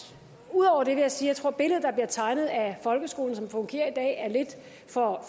ud over det vil jeg sige at billedet der bliver tegnet af folkeskolen som den fungerer i dag er lidt for